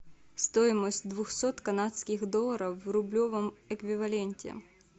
стоимость двухсот канадских долларов в рублевом эквиваленте